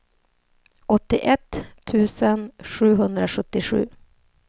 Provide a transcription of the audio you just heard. åttioett tusen sjuhundrasjuttiosju